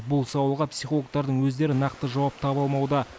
бұл сауалға психологтардың өздері нақты жауап таба алмауда